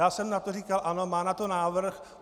Já jsem na to říkal ano, má na to návrh.